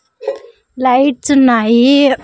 Lights ఉన్నాయి.